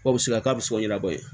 Ko bɛ se ka k'a bɛ sɔra bɔ yen